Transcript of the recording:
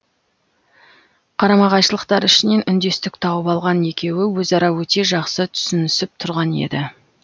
қарама қайшылықтар ішінен үндестік тауып алған екеуі өзара өте жақсы түсінісіп тұрған еді